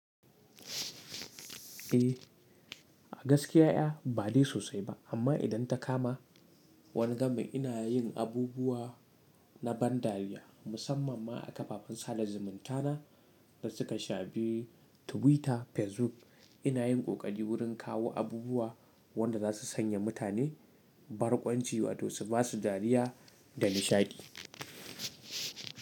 Eh, a gaskiya ƴa ba dai sosai ba, amma idan ta kama wani gamin ina yin abubuwa na ban dariya musamman ma a kafafen sada zumunta na da suka shafi Tiwita, Fesbuk. Ina yin ƙoƙari wurin kawo abubuwa wanda za su sanya mutane barkwanci wato su basu dariya da nishadi.